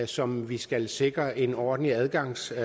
som vi skal sikre en ordentlig adgangsvej